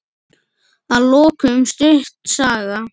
Að lokum stutt saga.